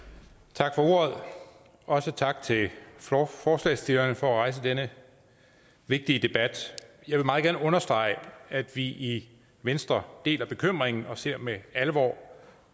tak for ordet også tak til forslagsstillerne for at rejse denne vigtige debat jeg vil meget gerne understrege at vi i venstre deler bekymringen og ser med alvor